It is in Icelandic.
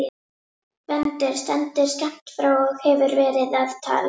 Gvendur stendur skammt frá og hefur verið að tala.